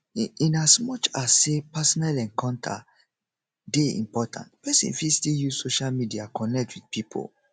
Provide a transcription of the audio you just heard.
in in as much as sey personal encounter dey important person fit still use social media connect with pipo